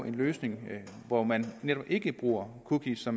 en løsning hvor man netop ikke bruger cookies så